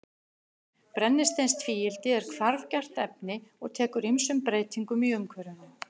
Brennisteinstvíildi er hvarfgjarnt efni og tekur ýmsum breytingum í umhverfinu.